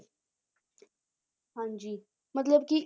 ਹਾਂਜੀ ਮਤਲਬ ਕਿ